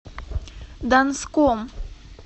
донском